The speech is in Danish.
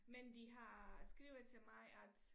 Men de har skrevet til mig at